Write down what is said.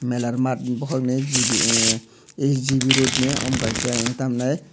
melarmat bohog ni gb ahhh ai gb road ni omo kaisa ehh tamo henai.